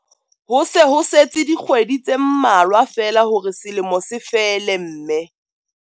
Ho se ho setse dikgwedi tse mmalwa feela hore selemo se fele mme.